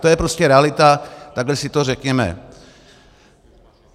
To je prostě realita, takhle si to řekněme.